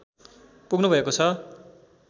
पुग्नुभएको छ